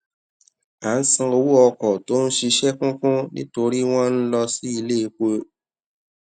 a n san owo oko to n sise kun kun nitori won lo to si ile epo